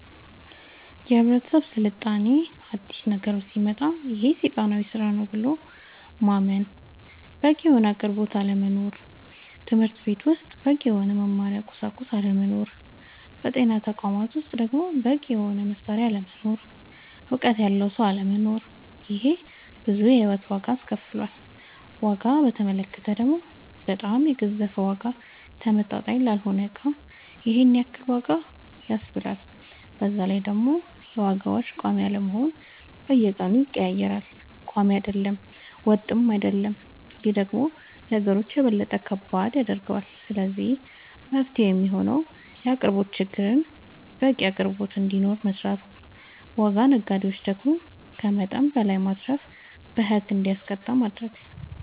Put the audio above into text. የህብረተሰብ ስልጣኔ አዲስ ነገሮች ሲመጣ ይሄ ሴጣናዊ ስራ ነው ብሎ ማመን በቂ የሆነ አቅርቦት አለመኖር ትምህርትቤት ውስጥ በቂ የሆነ የመማሪያ ቁሳቁስ አለመኖር በጤና ተቋማት ውስጥ ደሞ በቂ የሆነ መሳሪያ አለመኖር እውቀት ያለው ሰው አለመኖር ይሄ ብዙ የሂወት ዋጋ አስከፍሎል ዋጋ በተመለከተ ደሞ በጣም የገዘፈ ዋጋ ተመጣጣኝ ላልሆነ እቃ ይሄንን ያክል ዋጋ ያስብላል በዛላይ ደሞ የዋጋዎች ቆሚ አለመሆን በየቀኑ ይቀያየራል ቆሚ አይደለም ወጥም አይሆንም ይሄ ደሞ ነገሮች የበለጠ ከባድ ያደርገዋል ስለዚህ መፍትሄው የሚሆነው የአቅርቦት ችግርን በቂ አቅርቦት እንዲኖር መስራት ዋጋ ነጋዴው ደሞ ከመጠን በላይ ማትረፍን በህግ እንዲጠየቅ ማረግ